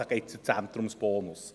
Da geht es um den Zentrumsbonus.